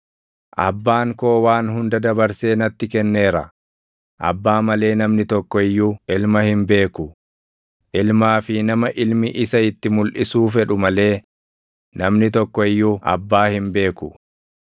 “Abbaan koo waan hunda dabarsee natti kenneera. Abbaa malee namni tokko iyyuu Ilma hin beeku; Ilmaa fi nama Ilmi isa itti mulʼisuu fedhu malee namni tokko iyyuu Abbaa hin beeku.